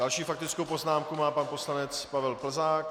Další faktickou poznámku má pan poslanec Pavel Plzák.